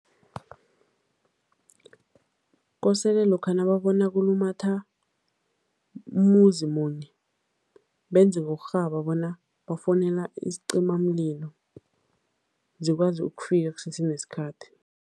Kosele lokha nababona kulumatha umuzi munye, benze ngokurhaba bona bafowunela isicimamlilo, zikwazi ukufika kusesenesikhathi.